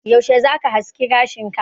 Yaushe zaka haski gashin ka?